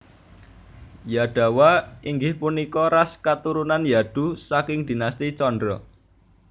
Yadawa inggih punika ras katurunan Yadu saking Dinasti Candra